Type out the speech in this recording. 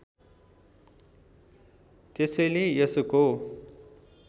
त्यसैले यसको